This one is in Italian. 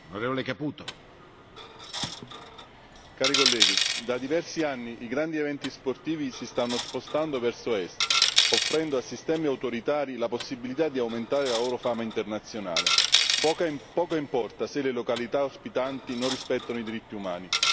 Signor Presidente, onorevoli colleghi, da diversi anni i grandi eventi sportivi si stanno spostando verso est, offrendo a sistemi autoritari la possibilità di aumentare la loro fama internazionale, poco importa se le località ospitanti non rispettano i diritti umani.